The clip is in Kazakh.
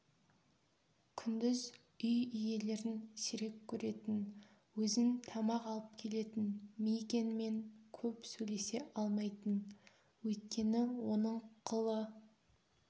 күндіз үй иелерін сирек көретін өзін тамақ алып келетін мигэнмен көп сөйлесе алмайтын өйткені оның қлы